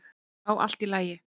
"""Já, allt í lagi."""